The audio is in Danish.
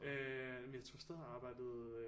Øh men jeg tror stadig hun arbejdede